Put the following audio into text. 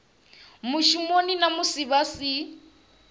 mushumoni na musi vha si